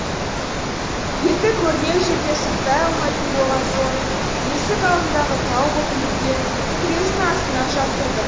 етті көрнеу жерге сақтай алмайтын болған соң есік алдындағы тау боп үйілген күресін астына жасырдық